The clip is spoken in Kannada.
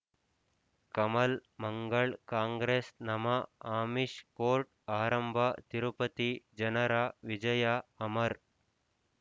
ಕಮಲ್ ಮಂಗಳ್ ಕಾಂಗ್ರೆಸ್ ನಮಃ ಅಮಿಷ್ ಕೋರ್ಟ್ ಆರಂಭ ತಿರುಪತಿ ಜನರ ವಿಜಯ ಅಮರ್